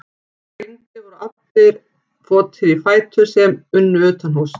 Þegar rigndi voru því allir votir í fætur sem unnu utanhúss.